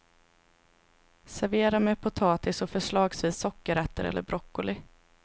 Servera med potatis och förslagsvis sockerärter eller broccoli.